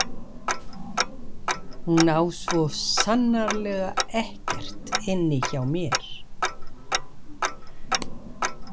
Hún á svo sannarlega ekkert inni hjá mér.